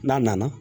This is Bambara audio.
N'a nana